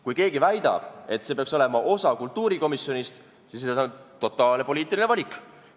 Kui keegi väidab, et see peaks olema osa kultuurikomisjonist, siis see on totaalne poliitiline valik.